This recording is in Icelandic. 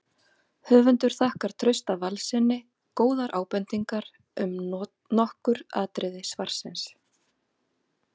Höfundur þakkar Trausta Valssyni góðar ábendingar um nokkur atriði svarsins.